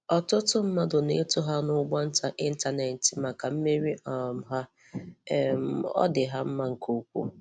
Ọ̀tụ̀tụ̀ mmadụ na-ètò ha n’ụ́gbọ̀ǹtá Ịntánẹ̀tị maka mmeri um ha. um Ọ dị ha mma nke ukwuu!